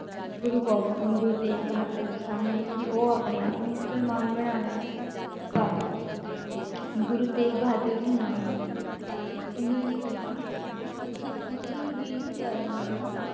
ਗੁਰੂ ਗੋਬਿੰ~ ਅਹ ਗੁਰੂ ਤੇਗ ਬਹਾਦਰ ਜੀ ਸਾਹਮਣੇ ਕਿ ਉਹ ਆਪਣੇ ਆਪ ਨੂੰ ਮੁਸਲਮਾਨ ਬਣਾ ਲੈਣ ਪਰ ਗੁਰੂ ਤੇਗ ਬਹਾਦਰ ਜੀ ਨਾ ਮੰਨੇ ਉਹਨਾਂ ਨੇ ਕਿਹਾ ਕਿ ਤੁਸੀਂ ਕਿਸੇ ਵੀ ਧਰਮ ਨੂੰ